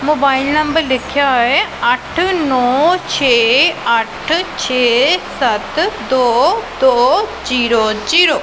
Mobile number ਲਿਖਿਆ ਹੋਇਆ ਏ ਅੱਠ ਨੋ ਛੇ ਅੱਠ ਛੇ ਸਤ ਦੋ ਦੋ ਜੀਰੋ ਜੀਰੋ।